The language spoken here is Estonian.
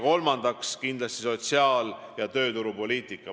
Kolmandaks on kindlasti oluline sotsiaal- ja tööturupoliitika.